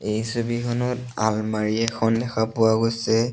এই ছবিখনত আলমাৰি এখন দেখা পোৱা গৈছে।